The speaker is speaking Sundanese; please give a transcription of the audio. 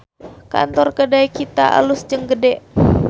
Kantor Kedai Kita alus jeung gede